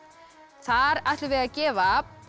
þar ætlum við að gefa